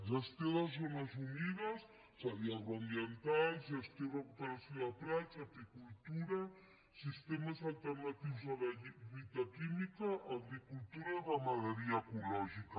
gestió de zones humides és a dir agroambientals gestió i recuperació de prats apicultura sistemes alternatius a la lluita química agricultura i ramaderia ecològica